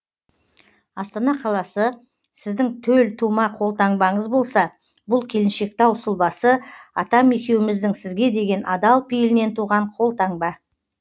астана қаласы сіздің төл тума қолтаңбаңыз болса бұл келіншектау сұлбасы атам екеуіміздің сізге деген адал пейілінен туған қолтаңба